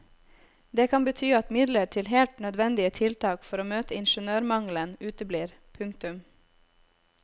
Det kan bety at midler til helt nødvendige tiltak for å møte ingeniørmangelen uteblir. punktum